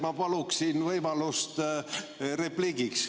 Ma paluksin võimalust repliigiks.